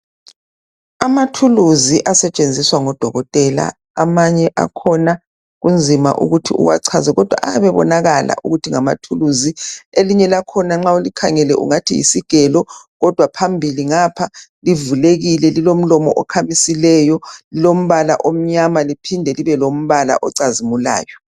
Amathuluzi asetshenziswa ngodokotela amanye akhona kunzima ukuthi uwachaze kodwa ayabe ebonakala ukuthi ngamathuluzi elinye lakhona nxa ulikhangela ngani yisigelo kodwa phambili ngapha livulekile lilomlomo okhamisileyo lilombala omnyama liphinde libe lombala ocazimulayo.